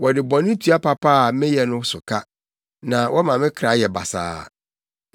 Wɔde bɔne tua papa a meyɛ so ka na wɔma me kra yɛ basaa.